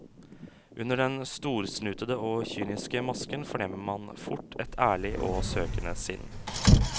Under den storsnutede og kyniske masken fornemmer man fort et ærlig og søkende sinn.